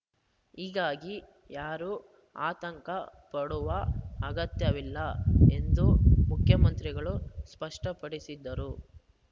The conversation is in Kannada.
ಹೀಗಾಗಿ ಯಾರೂ ಆತಂಕ ಪಡುವ ಅಗತ್ಯವಿಲ್ಲ ಎಂದು ಮುಖ್ಯಮಂತ್ರಿಗಳು ಸ್ಪಷ್ಟಪಡಿಸಿದರು